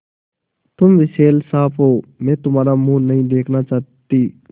तुम विषैले साँप हो मैं तुम्हारा मुँह नहीं देखना चाहती